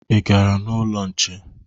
Ị gara n'ụlọ nche?